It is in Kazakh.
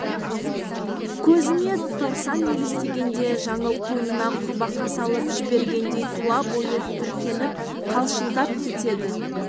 көзіне торсан елестегенде жаңыл қойнына құрбақа салып жібергендей тұла бойы тітіркеніп қалшылдап кетті